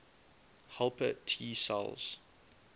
helper t cells